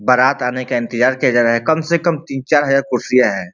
बरात आने का इंतजार किया जा रहा है। कम से कम तीन चार हजार कुर्सियाँ है।